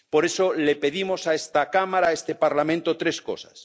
Por eso le pedimos a esta Cámara, a este Parlamento, tres cosas.